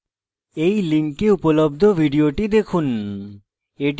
এই লিঙ্কে উপলব্ধ video দেখুন